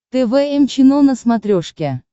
тэ вэ эм чено на смотрешке